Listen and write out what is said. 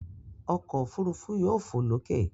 Ọkọ̀ òfurufú yóò fò lókè.